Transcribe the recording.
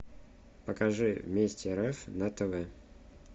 покажи вместе рф на тв